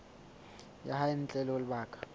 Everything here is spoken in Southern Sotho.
ya hae ntle ho lebaka